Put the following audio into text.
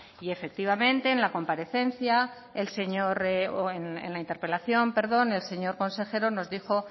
y efectivamente en la interpelación el señor consejero nos dijo